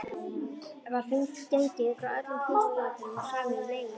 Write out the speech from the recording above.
Var gengið frá öllum formsatriðum og samið um leigugjald.